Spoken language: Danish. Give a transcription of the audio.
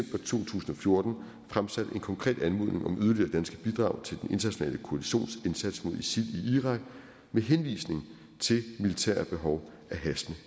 tusind og fjorten fremsat en konkret anmodning om yderligere danske bidrag til den internationale koalitions indsats mod isil i irak med henvisning til militære behov af hastende